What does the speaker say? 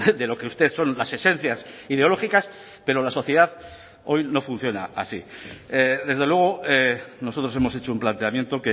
de lo que usted son las esencias ideológicas pero la sociedad hoy no funciona así desde luego nosotros hemos hecho un planteamiento